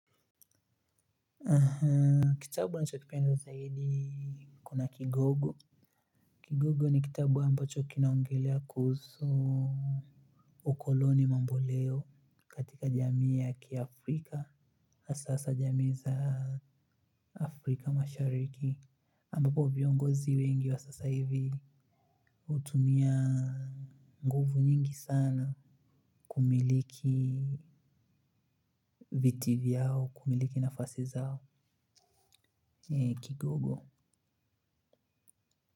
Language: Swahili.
Ahaa. Kitabu nachokipenda zaidi kuna kigogo. Kigogo ni kitabu ambacho kinaongelea kuhusu ukoloni mamboleo katika jamii ya kiafrika hasa hasa jamii za afrika mashariki ambapo viongozi wengi wa sasa hivi hutumia nguvu nyingi sana. Kumiliki viti vyao kumiliki nafasi zao Kigogo.